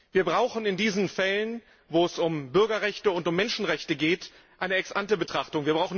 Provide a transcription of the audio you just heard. Wir brauchen in diesen Fällen, wo es um Bürgerrechte und um Menschenrechte geht, eine Ex ante Betrachtung.